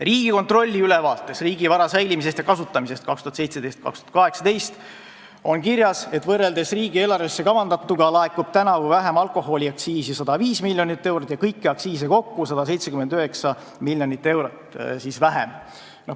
Riigikontrolli ülevaates riigi vara kasutamisest ja säilimisest 2017.–2018. aastal on kirjas, et võrreldes riigieelarvesse kavandatuga laekub tänavu alkoholiaktsiisi 105 miljonit eurot vähem ja kõiki aktsiise kokku 179 miljonit eurot vähem.